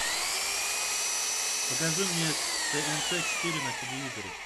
покажи мне тнт четыре на телевизоре